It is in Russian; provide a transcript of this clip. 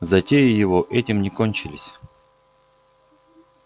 затеи его этим не кончились